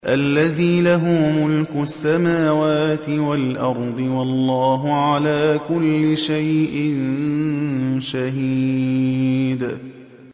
الَّذِي لَهُ مُلْكُ السَّمَاوَاتِ وَالْأَرْضِ ۚ وَاللَّهُ عَلَىٰ كُلِّ شَيْءٍ شَهِيدٌ